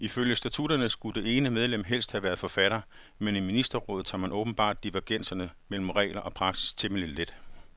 Ifølge statutterne skulle det ene medlem helst have været forfatter, men i ministerrådet tager man åbenbart divergenser mellem regler og praksis temmelig let.